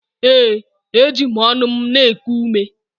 Ee, eji m ọnụ m na-eku ume.